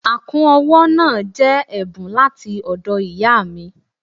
Àkún ọwọ́ náà jẹ́ ẹ̀bùn láti ọ̀dọ̀ ìyáà mi.